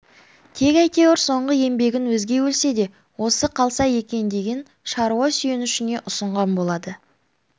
тек әйтеуір соңғы еңбегін өзге өлсе де осы қалса екен деген шаруа сүйенішіне ұсынған болады